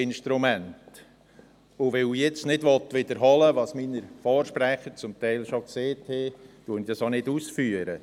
Weil ich nun nicht wiederholen will, was meine Vorsprechenden teilweise bereits gesagt haben, führe ich das auch nicht aus.